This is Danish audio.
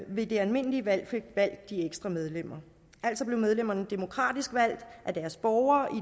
ved det almindelige valg fik valgt de ekstra medlemmer altså blev medlemmerne demokratisk valgt af deres borgere